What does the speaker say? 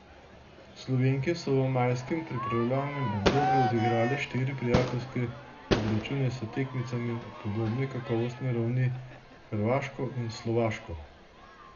Slovenke so v majskem pripravljalnem obdobju odigrale štiri prijateljske obračune s tekmicama podobne kakovostne ravni, Hrvaško in Slovaško.